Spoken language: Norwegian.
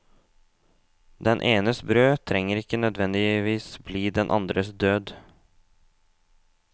Den enes brød trenger ikke nødvendigvis bli den andres død.